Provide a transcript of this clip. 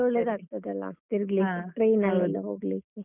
ಇನ್ನೂ ಒಳ್ಳೇದಾಗ್ತದಲ್ಲ? ತಿರುಗ್ಲಿಕ್ಕೆ. train ಲೆಲ್ಲ ಹೋಗ್ಲಿಕ್ಕೆ.